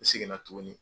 N seginna tuguni